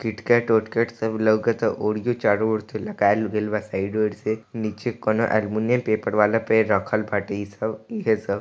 KitKat विटकैट सब लउकता ओरिओ चारो ओर से लगाइल गइल बा साइड वाइड से निचे कउनो एल्युमीनियम पेपर वाला पैर राखल बाटे ई सब इहे सब।